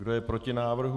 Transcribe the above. Kdo je proti návrhu?